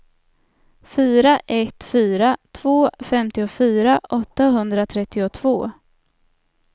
fyra ett fyra två femtiofyra åttahundratrettiotvå